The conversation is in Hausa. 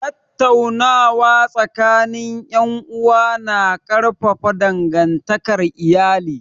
Tattaunawa tsakanin ’yan’uwa ya na ƙarfafa dangantakar iyali